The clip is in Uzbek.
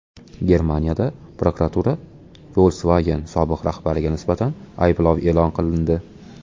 Germaniyada prokuratura Volkswagen sobiq rahbariga nisbatan ayblov e’lon qilindi.